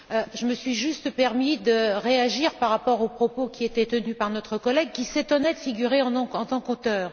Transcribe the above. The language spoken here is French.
Je me suis juste permis de réagir par rapport aux propos qui étaient tenus par notre collègue qui s'étonnait de figurer en tant qu'auteur.